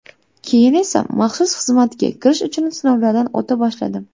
Keyin esa maxsus xizmatga kirish uchun sinovlardan o‘ta boshladim.